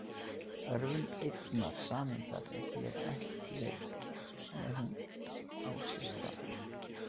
Örvun einnar sameindar er hér ekki „leyfð“ en ef hún á sér stað.